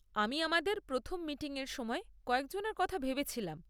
আমি আমাদের প্রথম মিটিংয়ের সময় কয়েকজনের কথা ভেবেছিলাম।